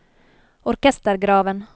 orkestergraven